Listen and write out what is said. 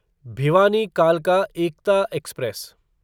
भिवानी कालका एकता एक्सप्रेस